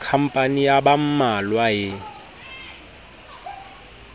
khampani ya ba mmalwa e